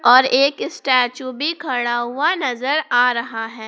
और एक स्टैचू भी खड़ा हुआ नजर आ रहा है।